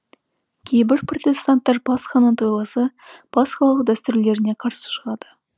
кейбір протестанттар пасханы тойласа пасхалық дәстүрлеріне қарсы шығады